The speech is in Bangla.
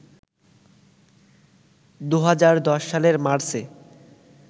২০১০ সালের মার্চে